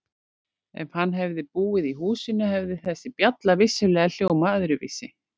Ef hann hefði búið í húsinu hefði þessi bjalla vissulega hljómað öðruvísi.